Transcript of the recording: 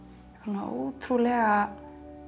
ótrúlega